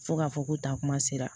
Fo ka fɔ ko taa kuma sera